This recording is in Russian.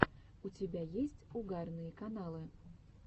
у тебя есть угарные каналы